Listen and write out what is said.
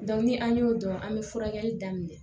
ni an y'o dɔn an bɛ furakɛli daminɛ